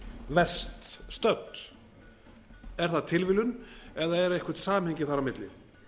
verst stödd er það tilviljun eða er eitthvað samhengi þar á milli